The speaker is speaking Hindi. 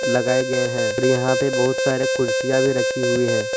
लगाए गए हैं यहां पर बहुत सारे कुर्सियां भी रखी हुई है।